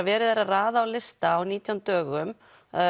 verið er að raða á lista á nítján dögum